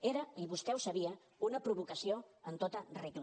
era i vostè ho sabia una provocació en tota regla